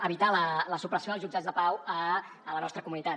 evitar la supressió dels jutjats de pau a la nostra comunitat